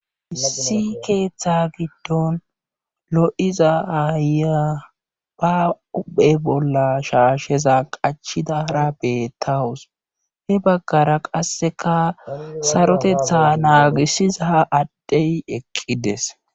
hissi keeththa giddon lo7iza aaya ba huphe bolla shaasheza qachidara beettawus he baggara qasseka sarotetha naagisiza ha addhey eqqides